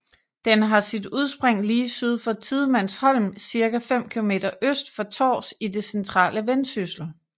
Den har sit udspring lige syd for Tidemandsholm cirka 5 kilometer øst for Tårs i det centrale Vendsyssel